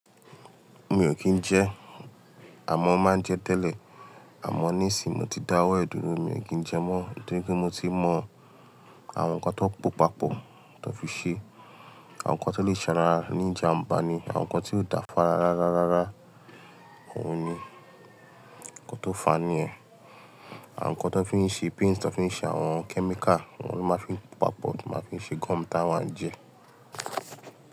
Mi o kín ń jẹ, àmọ máa ń jẹ tẹ́lẹ̀. Àmọ ní ìsin mo ti dáwọ́ ẹ̀dùnnu, mi o kín ń jẹ mọ́ nítorí pé mo ti mọ àwọn nǹkan tó pòpapọ̀ tó fi ṣe, àwọn nǹkan tó lè sara ní ìjàmbá ni, àwọn nǹkan tí ó dàfa rá rá rá rá, òun ni nǹkan nkó tọ fà á níyẹn. Àwọn nǹkan tó fi ń ṣe paints, tó fi ń ṣe àwọn chemical, wọ́n ló máa ń fi pòpapọ̀, tí wọ́n máa ń fi ṣe gum tí àwa n jẹ.